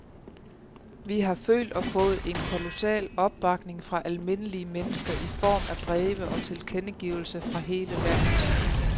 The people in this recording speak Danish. Vi har følt og fået en kolossal opbakning fra almindelige mennesker i form af breve og tilkendegivelser fra hele landet.